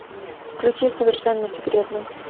включи совершенно секретно